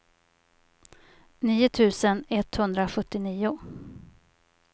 nio tusen etthundrasjuttionio